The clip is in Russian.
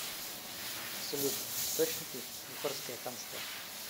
салют источники бухарское ханство